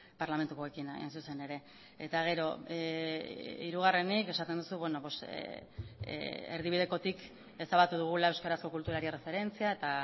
parlamentukoekin hain zuzen ere eta gero hirugarrenik esaten duzu erdibidekotik ezabatu dugula euskarazko kulturari erreferentzia eta